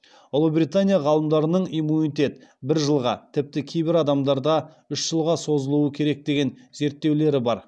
ұлыбритания ғалымдарының иммунитет бір жылға тіпті кейбір адамдарда үш жылға созылуы керек деген зерттеулері бар